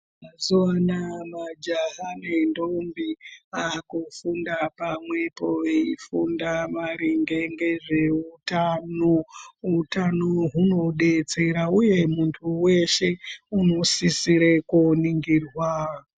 Mazuva ano majaha nendombi vakufunda pamwepo veifunda maringe ngezveutano, utano hunode kudetsera uye muntu weshe unosisire koningirwa.